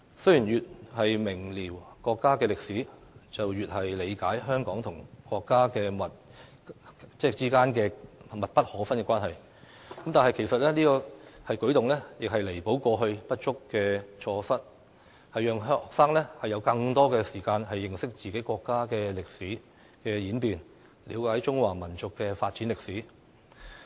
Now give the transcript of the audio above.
雖然越明瞭國家的歷史，便越理解香港與國家之間密不可分的關係，但這個舉動其實只是彌補過去的不足與錯失，讓學生有更多時間認識自己國家的歷史演變，了解中華民族的發展歷史。